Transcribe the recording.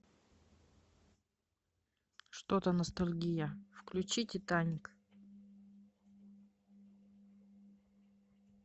что то ностальгия включи титаник